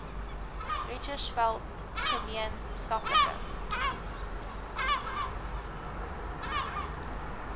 richtersveld gemeen skaplike